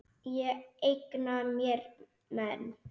Ég eigna mér menn.